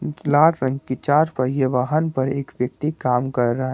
लाल रंग की चार पहिया वाहन पर एक व्यक्ति काम कर रहा--